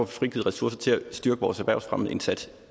frigivet ressourcer til at styrke vores erhvervsfremmeindsats